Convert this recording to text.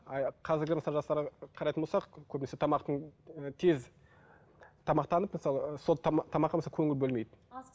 қарайтын болсақ көбінесе тамақтың тез тамақтанып мысалы сол тамаққа мысалы көңіл бөлмейді